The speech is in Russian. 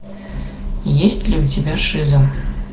есть ли у тебя шиза